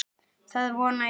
Það vona ég